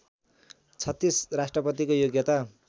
३६ राष्ट्रपतिको योग्यता